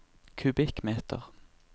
kubikkmeter